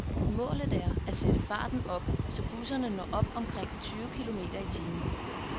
Målet er at sætte farten op, så busserne når op omkring tyve kilometer i timen.